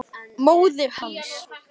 Þín dóttir, Þórunn Sif.